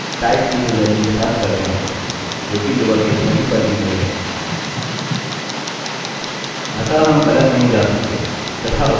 अतः हम गलत नहीं जा सकते तथा उपयोगकर्ता अपने यूज़रनेम नहीं भूलेंगे